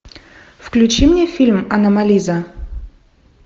включи мне фильм аномализа